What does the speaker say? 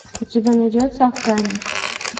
у тебя найдется охранник